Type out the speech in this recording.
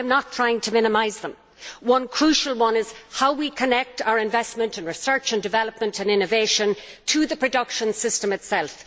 I am not trying to minimise them. One crucial one is how we connect our investment and research and development and innovation to the production system itself.